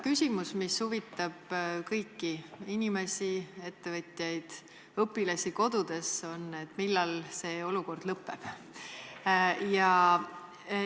Küsimus, mis huvitab kõiki inimesi, ettevõtjaid, samuti õpilasi kodudes, on see: millal olukord lõpeb?